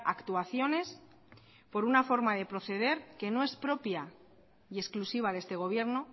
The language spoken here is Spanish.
actuaciones por una forma de proceder que no es propia y exclusiva de este gobierno